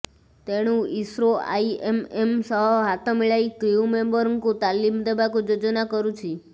ତେଣୁ ISRO IAM ସହ ହାତମିଳାଇ କ୍ରିଉ ମେମ୍ବରଙ୍କୁ ତାଲିମ ଦେବାକୁ ଯୋଜନା କରୁଛି